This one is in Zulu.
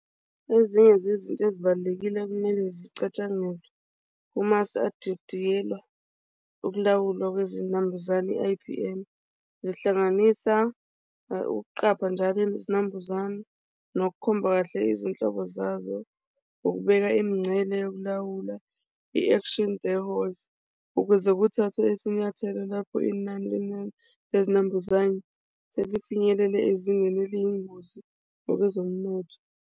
Ezinye zezinto ezibalulekile okumele zicatshangelwe uma sadidiyelwa ukulawulwa lwezinambuzane i-I_P_M zihlanganisa ukuqapha njalo izinambuzane nokukhomba kahle izinhlobo zazo ngokubeka imincele yokulawula i-action the holes ukuze kuthathwe isinyathelo lapho inani lemali lezinambuzane selifinyelele ezingenele eliyingozi ngokwezomnotho.